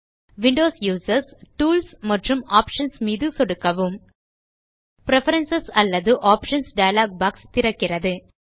Windows users tools மற்றும் options மீது சொடுக்கவும் பிரெஃபரன்ஸ் அல்லது ஆப்ஷன்ஸ் டயலாக் பாக்ஸ் திறக்கிறது